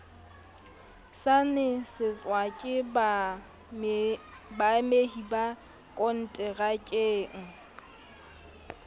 saenetswe ke baamehi ba konterakeng